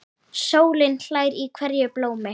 Sólin hlær í hverju blómi.